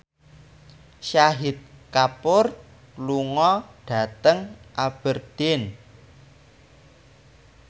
Shahid Kapoor lunga dhateng Aberdeen